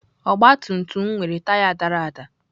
Ọgabtumtum m nwere taya dara ada.